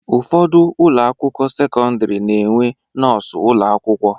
Ụfọdụ ụlọakwụkwọ sekọndịrị na-enwe nọọsụ ụlọakwụkwọ